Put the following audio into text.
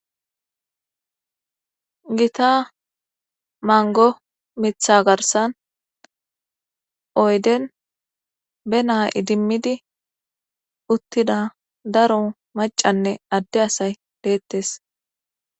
Gitta manggo mithitha garssan oyden be na'a idimmidi uttida daro macanne adde asay deettes